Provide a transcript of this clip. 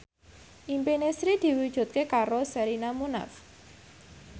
impine Sri diwujudke karo Sherina Munaf